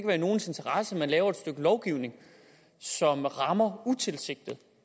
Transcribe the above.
være i nogens interesse at lave et stykke lovgivning som rammer utilsigtet